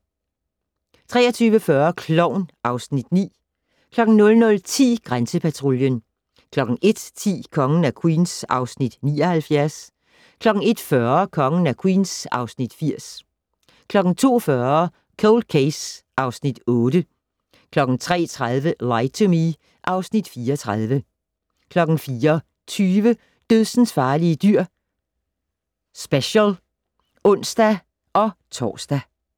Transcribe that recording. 23:40: Klovn (Afs. 9) 00:10: Grænsepatruljen 01:10: Kongen af Queens (Afs. 79) 01:40: Kongen af Queens (Afs. 80) 02:40: Cold Case (Afs. 8) 03:30: Lie to Me (Afs. 34) 04:20: Dødsensfarlige dyr - special (ons-tor)